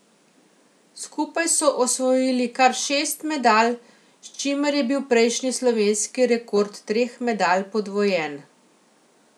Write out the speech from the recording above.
Skupaj so osvojili kar šest medalj, s čimer je bil prejšnji slovenski rekord treh medalj podvojen.